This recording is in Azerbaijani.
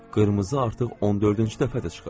Qırmızı artıq 14-cü dəfədir çıxır.